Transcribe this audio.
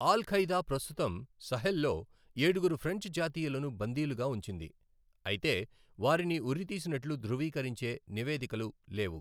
All Qaeda ప్రస్తుతం సహెల్లో ఏడుగురు ఫ్రెంచ్ జాతీయులను బందీలుగా ఉంచింది, అయితే వారిని ఉరితీసినట్లు ధృవీకరించే నివేదికలు లేవు.